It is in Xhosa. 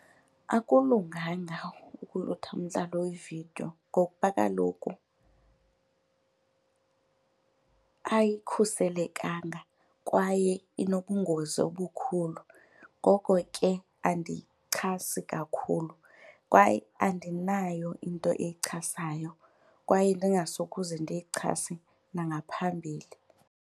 Akulunganga ukulutha umdlalo wevidiyo ngokuba kaloku ayikhuselekanga kwaye inobungozi obukhulu, ngoko ke andiyichasi kakhulu kwaye andinayo into eyichasayo kwaye ndingasokuze ndiyichase nangaphambili.